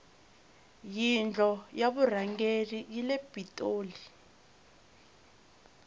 yindlo ya vurhangeri yile pitoli